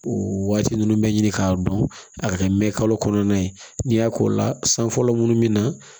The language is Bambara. O waati ninnu bɛ ɲini k'a dɔn a ka kɛ mɛn kalo kɔnɔna ye n'i y'a k'o la san fɔlɔ minnu bɛ na